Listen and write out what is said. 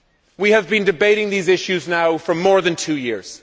We have been debating these issues now for more than two years.